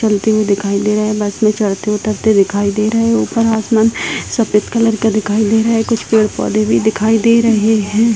चलती हुई दिखाई दे रहे है बस में चढ़ते उतरते दिखाई दे रहे है ऊपर आसमान सफेद कलर का दिखाई दे रहा है कुछ पेड़-पौधे भी दिखाई दे रहे है।